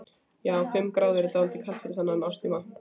Já, fimm gráður er dálítið kalt fyrir þennan árstíma.